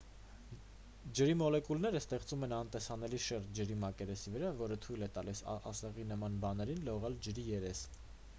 ջրի մոլեկուլները ստեղծում են անտեսանելի շերտ ջրի մակերեսի վրա որը թույլ է տալիս ասեղի նման բաներին լողալ ջրի երես